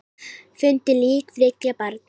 Fundu lík þriggja barna